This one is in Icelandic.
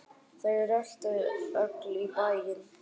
Þau röltu öll í bæinn.